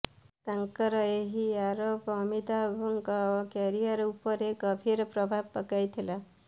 ତାଙ୍କର ଏହି ଆରୋପ ଅମିତାଭଙ୍କ କ୍ୟାରିୟର ଉପରେ ଗଭୀର ପ୍ରଭାବ ପକାଇଥିଲା